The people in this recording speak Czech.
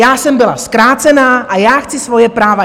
Já jsem byla zkrácena a já chci svoje práva!